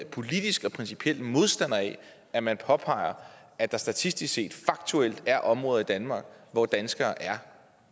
politisk og principielt modstander af at man påpeger at der statistisk set faktuelt er områder i danmark hvor danskere er